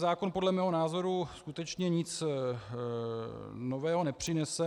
Zákon podle mého názoru skutečně nic nového nepřinese.